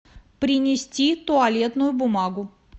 принести туалетную бумагу